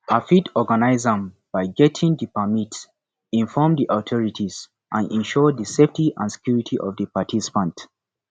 i fit organize am by getting di permit inform di authorities and ensure di safety and security of di participants